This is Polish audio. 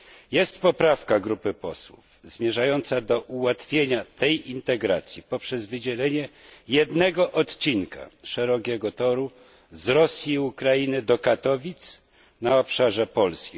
Jest poprawka grupy posłów zmierzająca do ułatwienia tej integracji poprzez wydzielenie jednego odcinka szerokiego toru z Rosji i Ukrainy do Katowic na obszarze Polski.